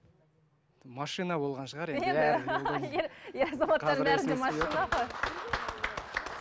машина болған шығар енді